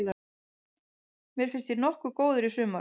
Mér fannst ég nokkuð góður í sumar.